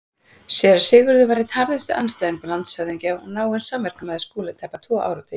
Séra Sigurður var einn harðasti andstæðingur landshöfðingja og náinn samverkamaður Skúla í tæpa tvo áratugi.